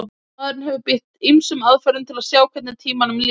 maðurinn hefur beitt ýmsum aðferðum til að sjá hvernig tímanum líður